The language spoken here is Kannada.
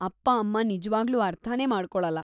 ಅಪ್ಪ-ಅಮ್ಮ ನಿಜ್ವಾಗ್ಲೂ ಅರ್ಥನೇ ಮಾಡ್ಕೊಳಲ್ಲ.